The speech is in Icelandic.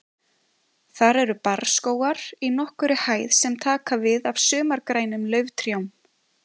Þar eru barrskógar í nokkurri hæð sem taka við af sumargrænum lauftrjám.